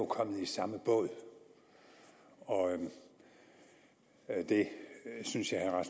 kommet i samme båd og det synes jeg herre